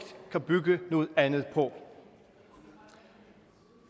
kan bygge noget andet på